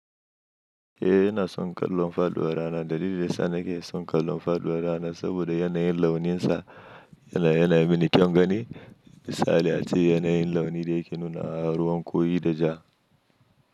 Eh, ina son kallon faduwar rana. Dalilin sa nake son kallon faduwar rana saboda yanayin launinsa yana, yana mini kyan gani. Misali ace yanayin launi da yake nunawa ruwan kori da ja.